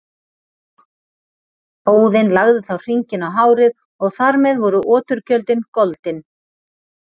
Óðinn lagði þá hringinn á hárið og þar með voru oturgjöldin goldin.